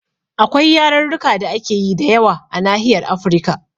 Akwai yarurruka da ake yi da yawa a Nahiyar Afrika